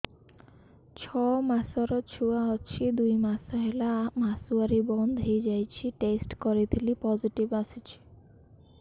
ଛଅ ମାସର ଛୁଆ ଅଛି ଦୁଇ ମାସ ହେଲା ମାସୁଆରି ବନ୍ଦ ହେଇଗଲାଣି ଟେଷ୍ଟ କରିଥିଲି ପୋଜିଟିଭ ଆସିଛି